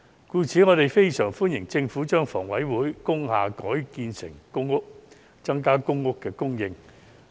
故此，我們非常歡迎政府把香港房屋委員會轄下的工廠大廈改建為公屋，增加公屋供應。